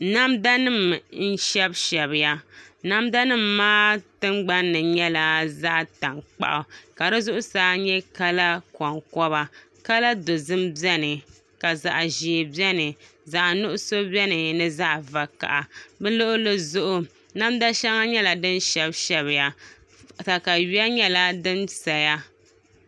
Namda nim n shɛbi shɛbiya namda nim maa tingbanni nyɛla zaɣ tankpaɣu ka di zuɣusaa nyɛ kala konkoba kala dozim biɛni ka zaɣ ʒiɛ biɛni zaɣ nuɣso biɛni ni zaɣ vakaɣa bi luɣuli zuɣu namda nim nyɛla din shɛbi shɛbiya katawiya nyɛla din saya